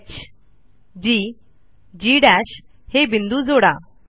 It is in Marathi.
hgजी हे बिंदू जोडा